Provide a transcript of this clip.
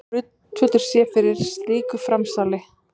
Enginn grundvöllur sé fyrir slíku framsali